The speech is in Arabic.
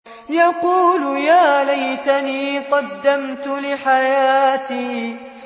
يَقُولُ يَا لَيْتَنِي قَدَّمْتُ لِحَيَاتِي